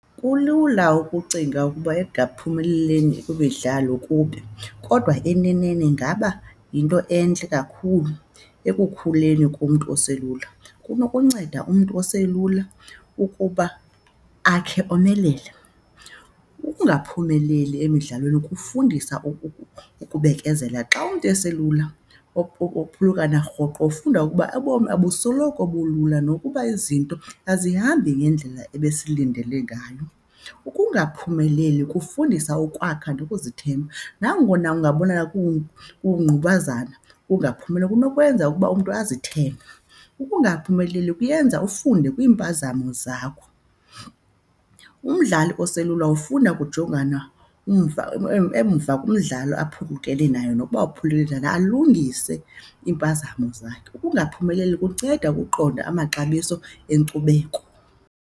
Kulula ukucinga ukuba ekungaphumelelini kwimidlalo kubi kodwa eneneni ingaba yinto entle kakhulu ekukhuleni kumntu oselula. Kunokunceda umntu oselula ukuba akhe omelele. Ukungaphumeleli emidlalweni kufundisa ukubekezela xa umntu eselula, ukuphulukana rhoqo ufunda ukuba obomi abusoloko bulula nokuba izinto azihambi ngendlela ebesilindele ngayo. Ukungaphumeleli kufundisa ukwakha nokuzithemba nangona ungabonakala kungqubazana. Ukungaphumeleli kunokwenza ukuba umntu azithembe. Ukungaphumeleli kuyenza ufunde kwiimpazamo zakho. Umdlali oselula ufunda ukujongana umva emva kumdlalo aphulukene nayo nokuba uphulukene njani, alungise iimpazamo zakhe. Ukungaphumeleli kunceda ukuqonda amaxabiso enkcubeko.